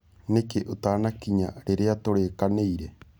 Nĩkĩ ũtanakĩnya rĩrĩa tũrĩkanĩĩre?